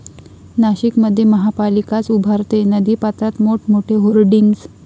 नाशिकमध्ये महापालिकाच उभारतेय नदीपात्रात मोठमोठे होर्डिंग्ज